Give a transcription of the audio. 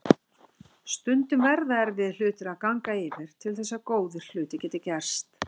Stundum verða erfiðir hlutir að ganga yfir til þess að góðir hlutir geti gerst.